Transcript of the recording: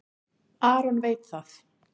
Aron veit það.